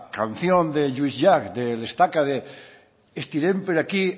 traducción de lluis llach de cincuentaestaca estirem per aquí